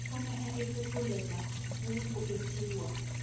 o e fetolele ho boetsuwa